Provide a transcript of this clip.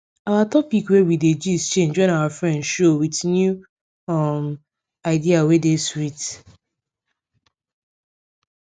our topic wey we dey gist change when our friend show with new um idea wey dey sweet